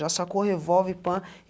Já sacou o revólver, pã.